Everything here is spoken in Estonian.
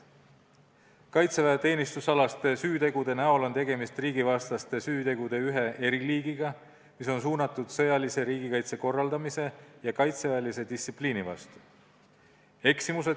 Kaitseväeteenistusalaste süütegude puhul on tegemist riigivastaste süütegude ühe eriliigiga, mis on suunatud sõjalise riigikaitse korraldamise ja kaitseväelise distsipliini vastu.